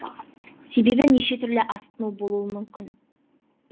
себебі неше түрлі асқыну болуы мүмкін